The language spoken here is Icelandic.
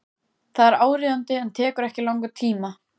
Það er áríðandi en tekur ekki langan tíma.